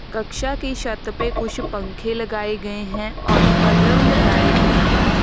कक्षा की छत पे कुछ पंखे लगाए गए हैं और बलब लगाए गए हैं।